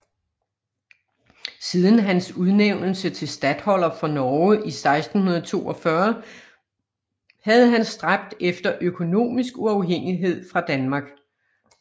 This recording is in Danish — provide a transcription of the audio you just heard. Siden hans udnævnelse til statholder for Norge i 1642 havde han stræbt efter økonomisk uafhængighed fra Danmark